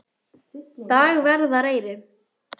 Dagverðareyri